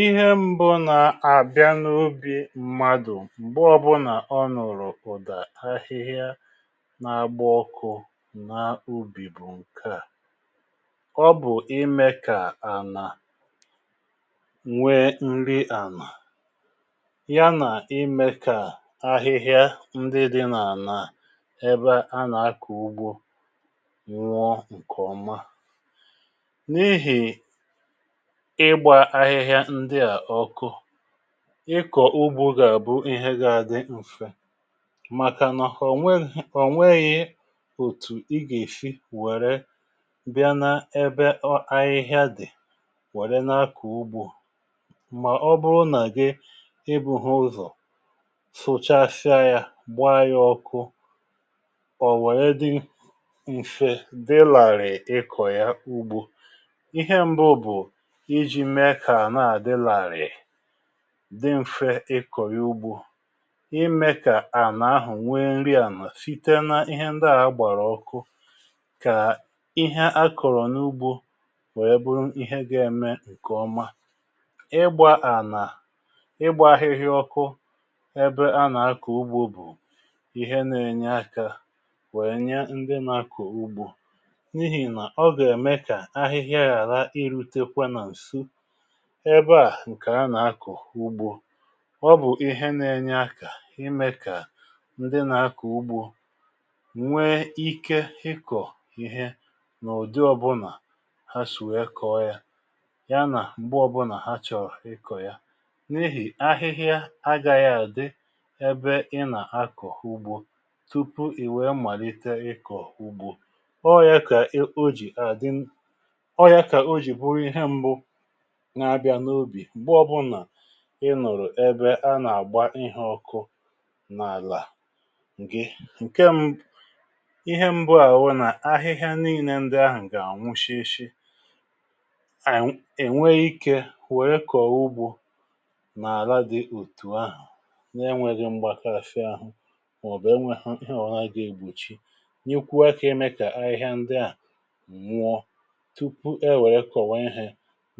Ihe mbụ nà àbịa n’obi mmadụ̀ m̀gbe ọbụ̀nà ọ nụ̀rụ̀ ụ̀dà ahịhịa nà-agba ọkụ̇ nà ubì bụ̀ ǹke à: ọ bụ̀ imė kà ànà nwee nri ànà ya nà imė kà ahịhịa ndị dị nà-ànà ebe a nà-akọ ugbo nwụọ ǹkè ọma. N’ihì ịgbȧ ahịhịa ndị à ọku, ịkọ̀ ugbȯ gà-àbụ ihe gà-adị m̀fe màkà nọ họ nweghì ihe o nweghì òtù ị gà-èfi wère bịa n’ebe ọ ahịhịa dị̀ wère n’akọ̀ ugbȯ mà ọ bụrụ nà gị ịbụ̇hụ ụzọ̀ sụchasia yȧ gbaa ya ọku ọ̀ wèe dị m̀fe, dị làrị̀ ịkọ̀ ya ugbȯ. Ihe nbụ bụ iji mee kà anà à dị làrị̀ị̀ dị mfė ịkọ̀ ya ugbȯ imė kà ànà ahụ̀ nwe nri ànà site na ihe ndị à gbàrà ọkụ kà ihe a kọ̀rọ̀ n’ugbȯ wèe bụrụ ihe gȧ-ėme ǹkè ọma. Ịgbȧ ànà ịgbȧ ahịhịa ọkụ ebe a nà-akọ̀ ugbȯ bụ̀ ihe nȧ-ėnye akȧ wèe nye ndị nȧ-akọ̀ ugbȯ n’ihì nà ọ gà-ème kà ahịhịa ghàra irute kwa nà ǹsu ebe à ǹkè a nà-akọ̀ ugbȯ. Ọ bụ̀ ihe na-enye akà ime kà ndị nà-akọ̀ ugbȯ nwee ike ịkọ̀ ihe n’ụ̀dị ọbụlà ha shi wee kọ̀ọ̀ ya ya nà m̀gbe ọbụlà ha chọ̀rọ̀ ịkọ̀ ya. N’ihì ahịhịa agȧghị àdị ebe ị nà-akọ̀ ugbȯ tupu ì wèe màlite ịkọ̀ ugbȯ. Ọọ̀ yȧ kà e o jì àdị ọọ yȧ kà o jì bụrụ ihe mbụ n’abịa n’obì mgbe ọbụla ị nụrụ ebe a nà-àgba ihe ọkụ n’àlà gị. Nke m ihe mbụ à wụ nà ahịhịa nile ndị ahụ̀ gà anwụshịshị ànyị̀ ènwe ikė wèe kọ̀ọ̀ ugbȯ nà-àla dị̇ otù ahụ̀ na-enwėghị mgbȧkashị ȧhụ mà ọ̀ bụ̀ enwėhụ̇ he ọwụnà ga egbòchi nyekwuo akà ime kà ahịhịa ndị à nwụọ tupu e wèe kọ̀wa ihė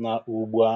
na ugbo a